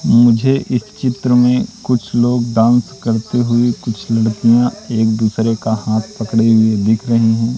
मुझे इस चित्र में कुछ लोग डांस करते हुए कुछ लड़कियां एक दूसरे का हाथ पकड़े हुए दिख रही हैं।